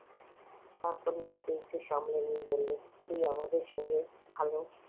তারপর নিজেকে একটু সামলে নিয়ে বলল তুই আমাদের সঙ্গে ভালো